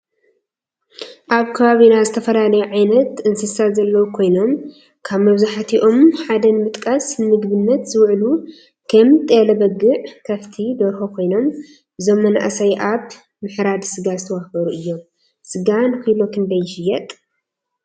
አብ ከባቢና ዝተፈላለዩ ዓይነት እንስሳ ዘለው ኮይኖም ካብ መብዛሕቲኣም ሓደ ንምጥቃስ ንምግብነት ዝውዕሉ ከም ጤል፣ በጊዕ፣ ክፍቲ፣ ደርሆ ኮይኖም እዞም መናእሰይ አብ ምሕራድ ስጋ ዝተዋፈሩ እዮም ።ስጋ ንኪሎ ክንደይ ይሽየጥ?